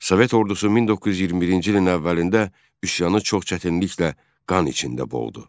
Sovet Ordusu 1921-ci ilin əvvəlində üsyanı çox çətinliklə qan içində boğdu.